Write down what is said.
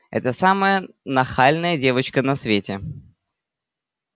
это самая нахальная девочка на свете